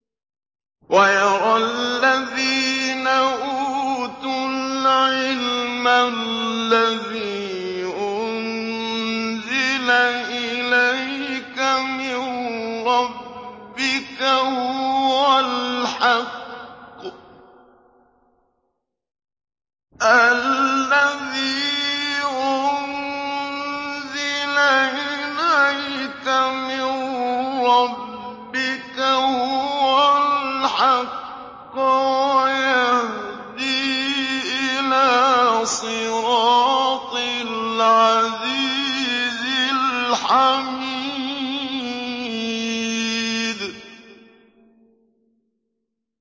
وَيَرَى الَّذِينَ أُوتُوا الْعِلْمَ الَّذِي أُنزِلَ إِلَيْكَ مِن رَّبِّكَ هُوَ الْحَقَّ وَيَهْدِي إِلَىٰ صِرَاطِ الْعَزِيزِ الْحَمِيدِ